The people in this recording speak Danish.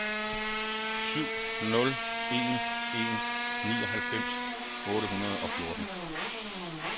syv nul en en nioghalvfems otte hundrede og fjorten